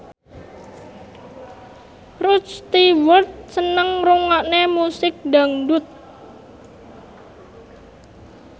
Rod Stewart seneng ngrungokne musik dangdut